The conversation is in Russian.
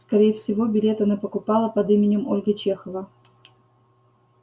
скорее всего билет она покупала под именем ольга чехова